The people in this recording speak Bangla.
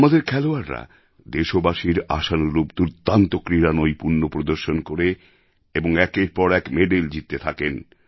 আমাদের খেলোয়াড়রাও দেশবাসীর আশানুরূপ দুর্দান্ত ক্রীড়ানৈপুণ্য প্রদর্শন করে এবং একের পর এক মেডেল জিততে থাকেন